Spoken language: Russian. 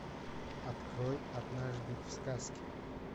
открой однажды в сказке